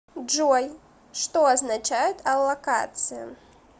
джой что означает аллокация